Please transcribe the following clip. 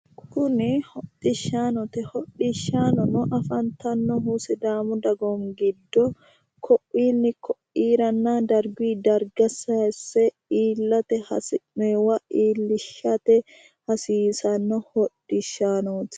kuni hodhishshaanote hodhishshaanono afantannohu sidaamu dagoomi giddo ko'inni ko'irana darguyi darga sayiisse iillate hasinnoonni darga iillishshate hasiissanno hodhishshaanooti.